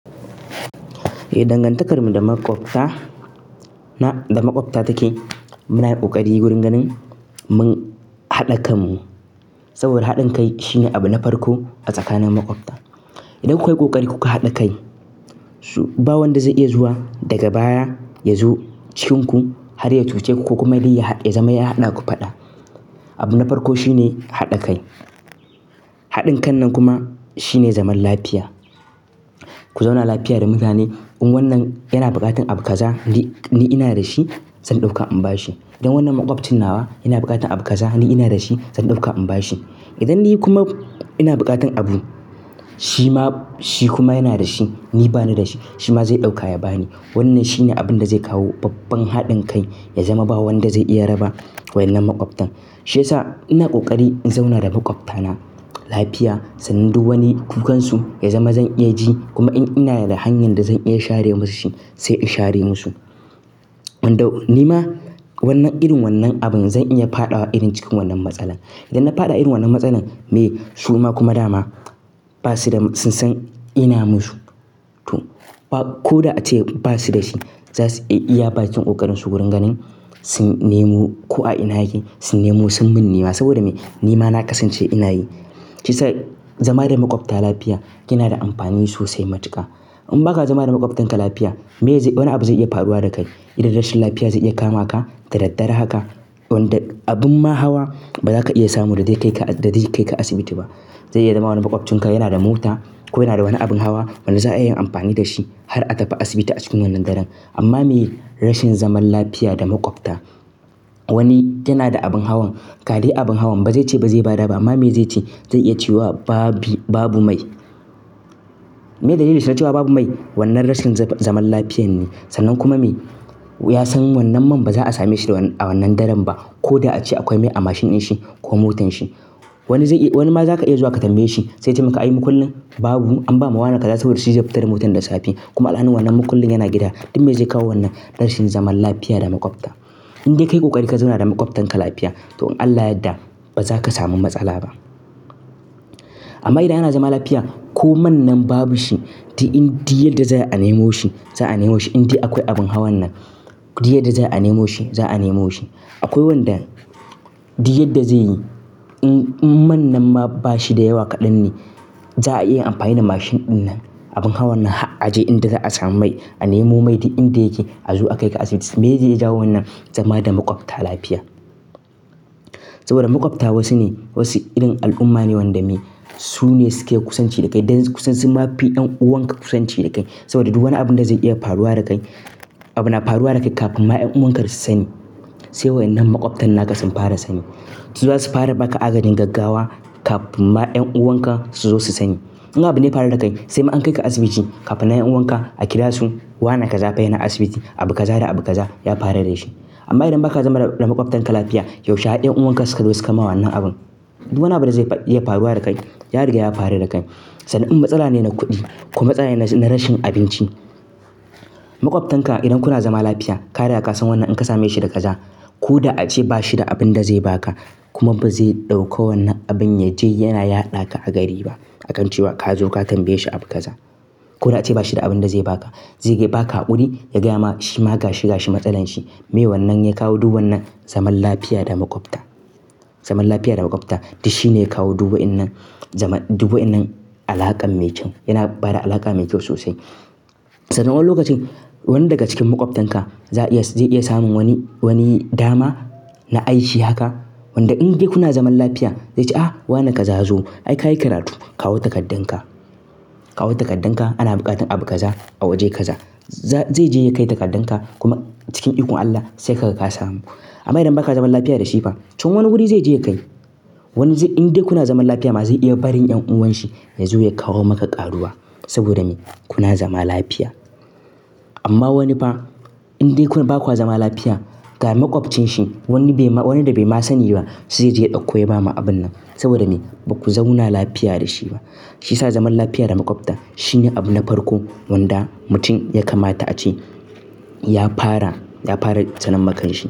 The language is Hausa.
Dangantakarmu da makwabta na take. Munayi kokari wurin ganin mun haɗa kanmu saboda haɗin kai shine abu na farko a tsakanin makwabta. Idan kukayi kokari kuka haɗa kai, so ba wanda zai iya zuwa daga baya ya zo cikinku har ya cuce ko kuma dai ya zama ya haɗa ku faɗa. Abu na farko shine haɗa kai. Haɗin kan nan kuma shine zaman lafiya. Ku zauna lafiya da mutane. In wannan yana buƙatar abu kaza, ni ina da shi zan ɗauka in bashi. Idan wannan makwabcin nawa yana buƙatar abu kaza ni ina da shi zan ɗauka in bashi. Idan ni kuma ina buƙatar abu shi kuma yana da shi, ni bani da shi, shi ma zai ɗaukawa ya bani. Wannan shine abin da zai kawo babban haɗin kai ya zama ba wanda zai iya raba wannan makwabtan. Shi yasa ina kokari in zauna da makwabtana lafiya, sannan du wani kukansu ya zama zan iya ji kuma in ina da hanyar da zan iya share musu shi sai in share musu. Ni ma wannan irin wannan abin zan iya faɗa wa irin cikin wannan matsala. Idan na faɗa irin wannan matsalan me su ma kuma dama sun san ina musu. Ko da ace ba su da shi za su iya bakin ƙokarinsu wurin ganin sun nemo ko a ina yake sun nemo sun mun nima saboda me ni ma na kasance ina yi. Shi yasa zama da makwabta lafiya yana da amfani sosai matuka. In ba ka zama da makwabtanka lafiya, me wani abu zai iya faruwa da kai idan rashin lafiya zai iya kama ka da daddare haka, abin ma hawa ba za ka iya samu da zai kai ka asibiti ba. Zai iya zama wani makwabcinka yana da mota ko yana da wani abin hawa wanda za a iya amfani da shi har a tafi asibiti a cikin wannan daren. Amma me rashin zaman lafiya da makwabta, wani yana da abin hawan, ka dai abin hawan ba zai ce ba zai ba da ba amma me zai ce zai iya cewa babu mai. Me dalilin shi na cewa babu mai? Wannan rashin zaman lafiyan ne. Sannan kuma me ya san wannan man ba za a same shi a wannan daren ba ko da ace akwai mai a mashin din shi ko motar shi. Wani ma za ka iya zuwa ka tambaye shi sai ya ce muka yi mukullin babu. An bama wane kaza saboda shi zai fita da motar da safe kuma alhalin wannan mukullin yana gida. Duk me zai kawo wannan rashin zaman lafiya da makwabta. In dai ka yi ƙoƙari ka zauna da makwabtanka lafiya, to in Allah ya yadda ba za ka samu matsala ba. Amma idan ana zaman lafiya ko man nan babu shi, duk yadda za ayi a nemo shi za a nemo shi. In dai akwai abin hawan nan, duk yadda za ayi a nemo shi za a nemo shi. Akwai wanda duk yadda zai yi in man nan ma ba shi da yawa kaɗan ne, za a iya amfani da mashin ɗin nan, abin hawan nan had a je inda za a samu mai a nemo mai. Inda yake a zo a kai ka asibiti. Me zai jawo wannan? Zama da makwabta lafiya. Saboda makwabta wasu irin al'umma ne wanda me su ne suke kusanci da kai. Dan su ma fi 'yan'uwan ka kusanci da kai. Saboda duk wani abin da zai iya faruwa da kai, abuna faruwa da kai kafin ma 'yan'uwan ka su sani sai wannan makwabtan naka sun fara sani. Su za su fara ba ka agajin gaggawa kafin ma 'yan'uwan ka su zo su sani. In abu ne ya faru da kai sai ma an kai ka asibiti kafin nan 'yan'uwan ka a kira su, wane kaza fa yana asibiti. Abu kaza da abu kaza ya faru da shi. Amma idan ba ka zama da makwabtanka lafiya, yaushe har 'yan'uwan ka suka zo su kama wannan abin? Duk wani abu da zai iya faruwa da kai, ya riga ya faru da kai. Sannan in matsala ne na kuɗi ko matsala ne na rashin abinci, makwabtanka idan kuna zama lafiya ka riga ka san wannan in ka same shi da kaza ko da ace ba shi da abin da zai ba ka kuma ba zai ɗauko wannan abin ya je yana yaɗa ka a gari ba akan cewa ka zo ka tambaye shi abu kaza ko da ace ba shi da abin da zai ba ka. Zai iya ba ka haƙuri ya gaya ma shi ma ga shi ga shi matsalar shi. Me wannan? Ya kawo duk wannan zaman lafiya da makwabta. Zaman lafiya da makwabta duk shi ne ya kawo duk wa'innan alaƙan mai kyau. Yana bada alaƙa mai kyau sosai. Sannan wani lokacin wani daga cikin makwabtanka zai iya samun wani dama na aiki haka, wanda in dai kuna zaman lafiya zai ce, "ah wane ka za zo? Ai ka yi karatu, kawo takardun ka. Kawo takardun ka ana buƙatar abu kaza a waje kaza." Zai je ya kai takardun ka kuma cikin ikon Allah sai ka ga ka samu. Amma idan ba ka zaman lafiya da shi ba, can wani wuri zai je ya kai. Wani inda kuna zaman lafiya ma zai iya barin 'yan'uwan shi ya zo ya kawo maka ƙaruwa saboda me kuna zama lafiya. Amma wani fa in dai ba kwa zama lafiya, ga makwabcinsa wani da bai ma sani ba zai je ya ɗauko ya ba ma abun nan saboda me ba ku zauna lafiya da shi ba. Shi yasa zaman lafiya da makwabta shine abu na farko wanda mutum ya kamata ace ya fara ya fara sanan makanshi.